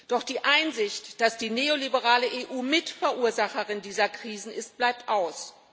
Doch die Einsicht, dass die neoliberale EU Mitverursacherin dieser Krisen ist, bleibt aus.